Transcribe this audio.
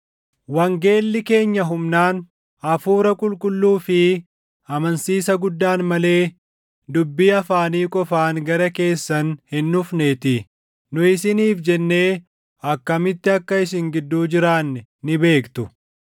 wangeelli keenya humnaan, Hafuura Qulqulluu fi amansiisa guddaan malee dubbii afaanii qofaan gara keessan hin dhufneetii. Nu isiniif jennee akkamitti akka isin gidduu jiraanne ni beektu.